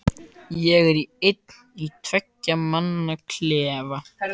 Ég er einn í tveggja manna klefa.